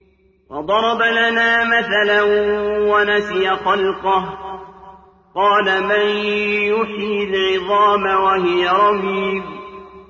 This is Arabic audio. وَضَرَبَ لَنَا مَثَلًا وَنَسِيَ خَلْقَهُ ۖ قَالَ مَن يُحْيِي الْعِظَامَ وَهِيَ رَمِيمٌ